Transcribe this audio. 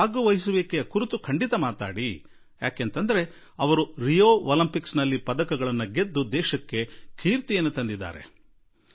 ತಂದುಕೊಟ್ಟಿರುವುದರಿಂದ ದಯಮಾಡಿ ಈ ಸಲ ಮನದ ಮಾತಿನಲ್ಲಿ ಹೆಣ್ಣು ಮಕ್ಕಳ ಶಿಕ್ಷಣ ಮತ್ತು ಕ್ರೀಡೆಗಳಲ್ಲಿ ಅವರ ಪಾಲ್ಗೊಳ್ಳುವಿಕೆಯ ಕುರಿತು ಖಂಡಿತಾ ಮಾತನಾಡಿ